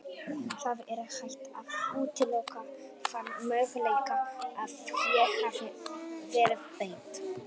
Það er ekki hægt að útiloka þann möguleika að ég hafi verið beitt særingum.